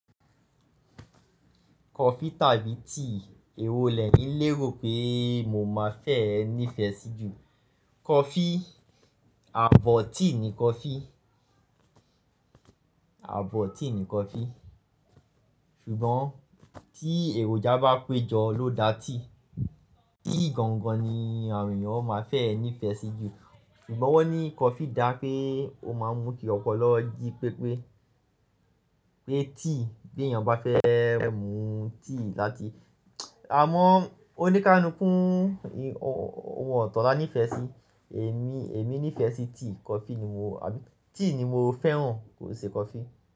Kọfi tàbí tíì, èwo lẹ̀yin lérò pé mo má fẹ́ẹ nìfẹ́ sí jù? Kọfi, ààbọ̀ tíì ni kọfi, ààbọ̀ tíì ni kọfi. Ṣùgbọ́n tí èròjà bá pé jọ ló dá tíì. Tíì gangan ni àwon eeyan má fẹ́ẹ nífẹ́ sí jù. Ṣùgbọ́n wọ́n ní kọfi dá pé ó máa ń mú kí ọpoloọ́ ji pépé. Pé tíì beyàn bá fẹ́ mú tíì láti-- àmọ́ onikalukuu ohun ọ̀tọ̀ la nífẹ́ sí, èmi, èmi nífẹ́ sí tíì, kọfi ni mo, àbí tíì ni mo fẹ́ràn kòo ṣe kọfi.